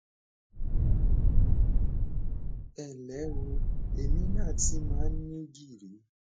ẹ nlẹ o èmi náà ti máa ń ní gìrì